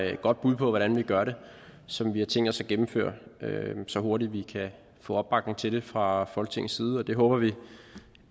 et godt bud på hvordan vi gør det som vi har tænkt os at gennemføre så hurtigt vi kan få opbakning til det fra folketingets side og det håber vi